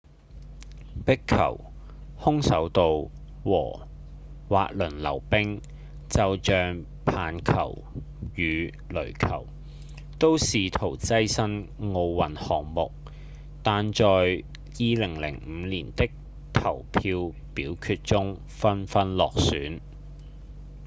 壁球、空手道和滑輪溜冰就像棒球與壘球都試圖躋身奧運項目但在2005年的投票表決中紛紛落選